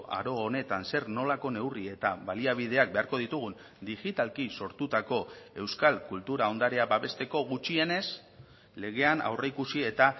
aro honetan zer nolako neurri eta baliabideak beharko ditugun digitalki sortutako euskal kultura ondarea babesteko gutxienez legean aurreikusi eta